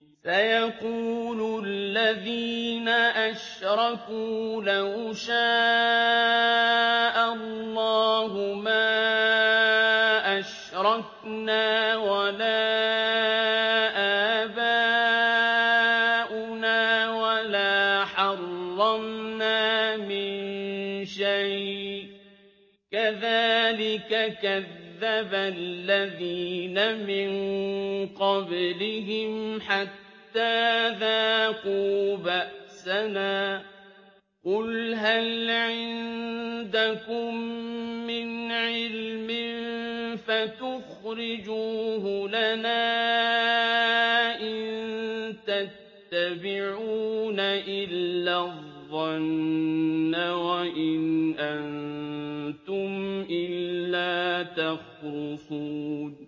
سَيَقُولُ الَّذِينَ أَشْرَكُوا لَوْ شَاءَ اللَّهُ مَا أَشْرَكْنَا وَلَا آبَاؤُنَا وَلَا حَرَّمْنَا مِن شَيْءٍ ۚ كَذَٰلِكَ كَذَّبَ الَّذِينَ مِن قَبْلِهِمْ حَتَّىٰ ذَاقُوا بَأْسَنَا ۗ قُلْ هَلْ عِندَكُم مِّنْ عِلْمٍ فَتُخْرِجُوهُ لَنَا ۖ إِن تَتَّبِعُونَ إِلَّا الظَّنَّ وَإِنْ أَنتُمْ إِلَّا تَخْرُصُونَ